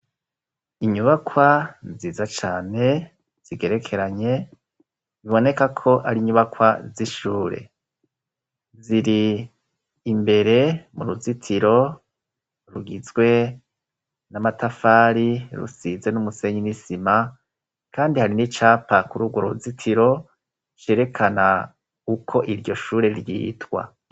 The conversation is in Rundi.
Inyubakwa nziza cane zigerekeranye, biboneka ko ari inyubakwa zishure ziri imbere mu ruzitiro rugizwe n'amatafari rusize n'umusenyi n'isima kandi hari n'icapa kururwo ruzitiro cerekana uko iryo shure ryitwa.